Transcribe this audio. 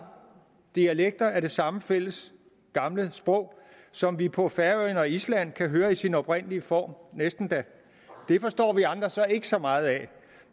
dialekter af det samme fælles gamle sprog som vi på færøerne og i island kan høre i sin oprindelige form næsten da det forstår vi andre så ikke så meget af